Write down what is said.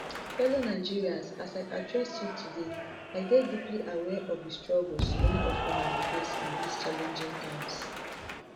fellow nigerians as i address you today i dey deeply aware of di struggles many of una dey face in dis challenging times